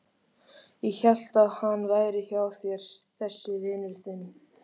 Ég hélt að hann væri hjá þér þessi vinur þinn.